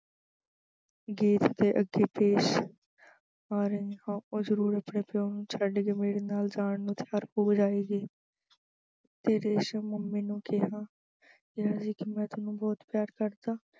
ਪ੍ਰੀਤ ਦੇ ਅੱਗੇ ਪੇਸ਼ ਆ ਰਹੀ ਹਾਂ, ਉਹ ਜ਼ਰੂਰ ਆਪਣੇ ਪਿਉ ਨੂੰ ਛੱਡ ਕੇ ਮੇਰੇ ਨਾਲ ਜਾਣ ਨੂੰ ਤਿਆਰ ਹੋ ਜਾਵੇਗੀ ਤੇ ਰੇਸ਼ਮ ਨੇ mummy ਨੂੰ ਕਿਹਾ ਕਿ ਮੈਂ ਵੀ ਤੈਨੂੰ ਬਹੁਤ ਪਿਆਰ ਕਰਦਾ।